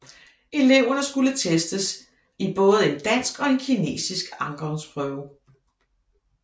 Eleverne skulle testes i både en dansk og en kinesisk afgangsprøve